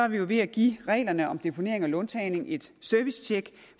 vi ved at give reglerne om deponering og låntagning et servicetjek